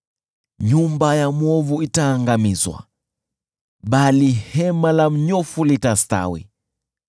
Nyumba ya mwovu itaangamizwa, bali hema la mnyofu litastawi.